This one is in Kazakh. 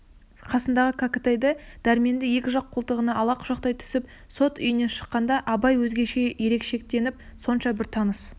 қасындағы кәкітайды дәрменді екі жақ қолтығына ала құшақтай түсіп сот үйінен шыққанда абай өзгеше өркештеніп сонша бір тыныс